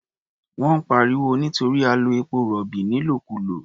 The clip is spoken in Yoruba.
Wọ́n ń pariwo nítorí a lo epo-rọ̀bì nílòkulò.